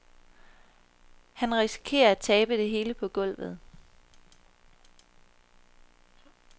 Han risikerer at tabe det hele på gulvet.